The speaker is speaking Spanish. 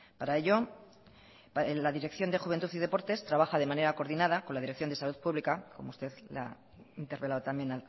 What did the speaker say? para ello en la dirección de juventud y deportes trabaja de manera coordinada con la dirección de salud pública como usted le he interpelado también